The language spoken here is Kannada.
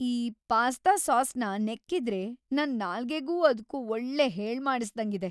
ಈ ಪಾಸ್ಟಾ ಸಾಸ್‌ನ ನೆಕ್ತಿದ್ರೆ ನನ್‌ ನಾಲ್ಗೆಗೂ ಅದ್ಕೂ ಒಳ್ಳೆ ಹೇಳ್ಮಾಡಿಸ್ದಂಗಿದೆ.